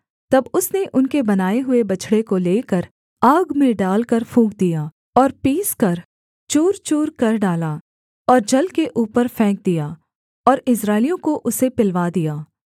तब उसने उनके बनाए हुए बछड़े को लेकर आग में डालकर फूँक दिया और पीसकर चूर चूरकर डाला और जल के ऊपर फेंक दिया और इस्राएलियों को उसे पिलवा दिया